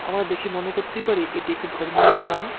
আমরা দেখে মনে করতেই পারি এটি একটি ধর্মীয় স্থান।